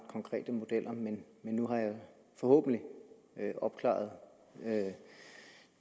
konkrete modeller men nu har jeg forhåbentlig opklaret